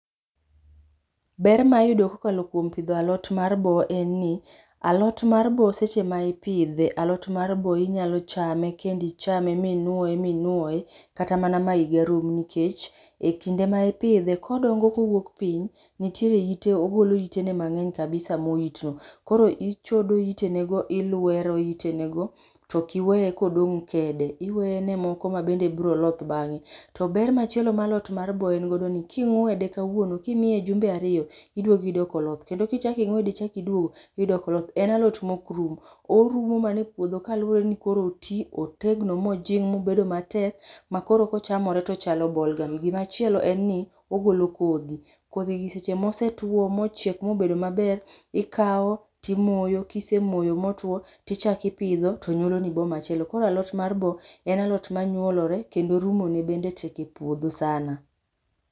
Ber ma iyudo kokalo kwom pidho alot mar boo enni, alot mar boo seche ma ipidhe alot mar boo inyalo chame kendo ichame minwoye minwoye, kata mana ma iga rum, nikech, e kinde ma ipidhe, kodongo kowuok piny, nitere ite igolo itene mang'eny kabisa. Koro ichodo itenego ilwero itenego to kiwee kodong' kede. Iwene moko mabende bro loth bang'e. To ber machielo ma alot mar boo engodo ni, king'wede kawuon, kimie jumbe ario, iduogi yudo koloth. Kendo kichaki ng'wede ichaki duogo, iyudo koloth. En alot mokrum. Orumo mane puodho kaluwore ni koro otii otegno mojing' mobedo matek makoro kochamore to chalo bolgam. Gimachielo enni ogolo kodhi. Kodhigi seche mosetwo mochiek mobedo maber, ikao timoyo. Kisemoyo motwo, tichaki ipidho to nywoloni boo machielo. Koro alot mar boo en alot manywolore, kendo rumone bende tek e puodho sana.